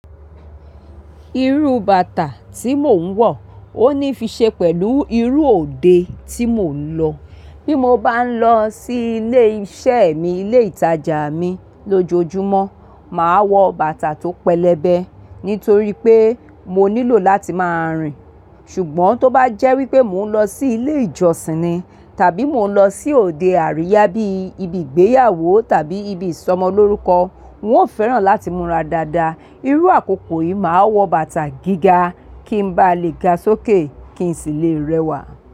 Irú bàtà tí mò ń wọ̀ ó ní fi ṣe pẹ̀lú irú òde tí mò ń lọ. Bí mo bá ń lọ sí ilé iṣẹ́ mi, ilé ìtajà mi lójoojúmọ́, màá wọ bàtà tó pẹlẹbẹ nítorí pé mo nílò láti máa rìn. Ṣùgbọ́n tó bá jẹ́ wípé mò ń lọ sí ilé ìjọsìn ni tàbí mò ń lọ sí òde àríyá bí ibi ìgbéyàwó tàbí ibi ìsọmọlórúkọ, wọn ó fẹ́ràn láti múra dáadáa. Irú àkókò yìí, màá wọ bàtà gíga kí n ba lè ga sókè kí n sì lè rẹwà.